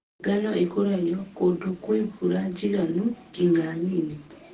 Ngano ĩkũragio kũndũ kwĩ mbura njiganu nginya nini.